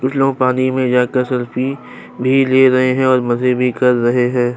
कुछ लोग पानी में जाकर सेल्फी भी ले रहे हैं और मजे भी कर रहे हैं।